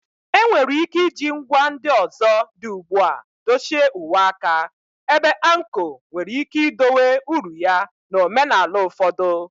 Enwere ike iji ngwa ndị ọzọ dị ugbu a dochie uwe aka, ebe anko nwere ike idowe uru ya na omenala ụfọdụ.